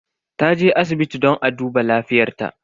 Taje asibiti don a duba lafiyar ta.